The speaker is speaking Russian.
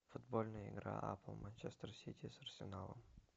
футбольная игра апл манчестер сити с арсеналом